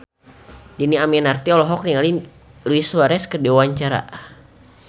Dhini Aminarti olohok ningali Luis Suarez keur diwawancara